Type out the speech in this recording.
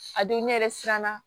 A don ne yɛrɛ siranna